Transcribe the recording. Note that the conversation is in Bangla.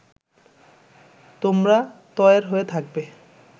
তোমরা তয়ের হয়ে থাকবে